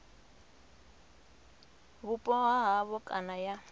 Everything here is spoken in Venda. vhupo ha havho kana ya